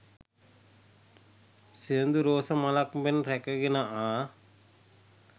සිනිඳු රෝස මලක් මෙන් රැකගෙන ආ